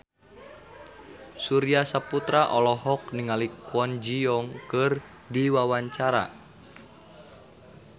Surya Saputra olohok ningali Kwon Ji Yong keur diwawancara